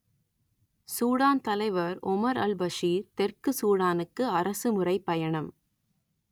Sudan தலைவர் Omar al Bashir தெற்கு சூடானுக்கு அரசு முறைப் பயணம்